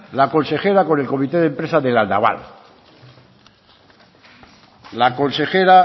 la consejera con el comité de empresa de la naval la consejera